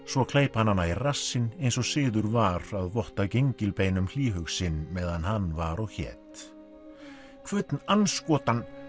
svo kleip hann hana í rassinn eins og siður var að votta hlýhug sinn meðan hann var og hét andskotann